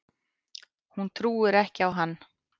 Hún trúir ekki á hann.